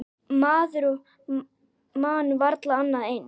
Maður man varla annað eins.